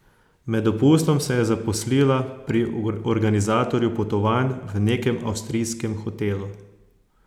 Med dopustom se je zaposlila pri organizatorju potovanj v nekem avstrijskem hotelu.